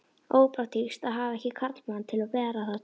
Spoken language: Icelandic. Ópraktískt að hafa ekki karlmann til að bera það þyngsta.